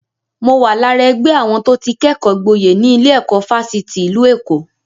Mo wà lára ẹgbẹ́ àwọn tó ti kẹ́kọ̀ọ́ gboyè ní ilé-ẹ̀kọ́ Fásitì ìlú Èkó.